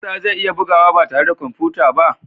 Musa zai iya bugawa ba tare da kwamfuta ba?